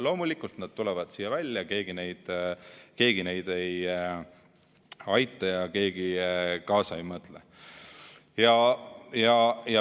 Loomulikult nad tulevad siia välja, keegi neid ei aita ja keegi kaasa ei mõtle.